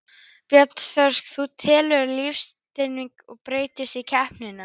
Björn Þorláksson: Þú telur að lífstíllinn breytist í kreppunni?